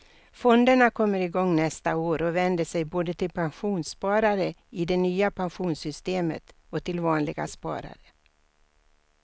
Fonderna kommer igång nästa år och vänder sig både till pensionssparare i det nya pensionssystemet och till vanliga sparare.